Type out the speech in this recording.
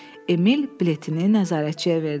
Emil biletini nəzarətçiyə verdi.